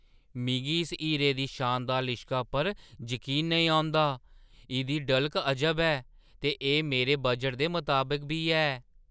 मिगी इस हीरे दी शानदार लिश्का पर जकीन नेईं औंदा! इʼदी डलक अजब ऐ, ते एह् मेरे बजटै दे मताबक बी ऐ।